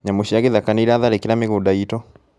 Nyamũ cia gĩthaka nĩiratharĩkĩra mĩgũnda itũ